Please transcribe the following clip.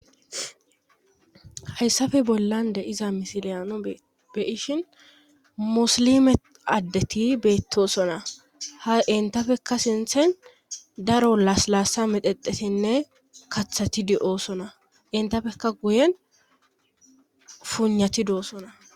hayssafe bollan de7iza misiliyano beyishin musilime addeti beettosona ha entafekka sinthen daro laas laassa medexetinne kathati di7oosona entafekka guyen fuuynati doo sona